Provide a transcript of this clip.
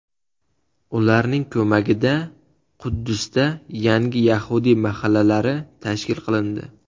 Ularning ko‘magida Quddusda yangi yahudiy mahallalari tashkil qilindi.